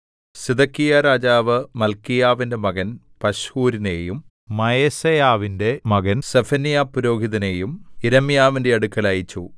സിദെക്കീയാരാജാവ് മല്ക്കീയാവിന്റെ മകൻ പശ്ഹൂരിനെയും മയസേയാവിന്റെ മകൻ സെഫന്യാപുരോഹിതനെയും യിരെമ്യാവിന്റെ അടുക്കൽ അയച്ചു